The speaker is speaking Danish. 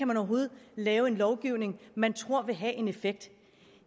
man overhovedet kan lave en lovgivning man tror vil have en effekt